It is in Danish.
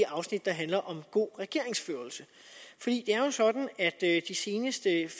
afsnit der handler om god regeringsførelse det er jo sådan at i de seneste